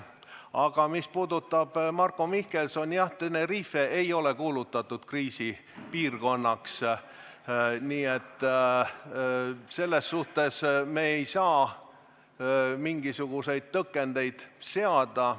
Aga mis puudutab Marko Mihkelsoni, siis Tenerife ei ole kuulutatud kriisipiirkonnaks, nii et selles mõttes me ei saa mingisuguseid tõkendeid seada.